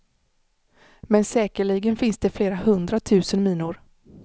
Men säkerligen finns det flera hundratusen minor.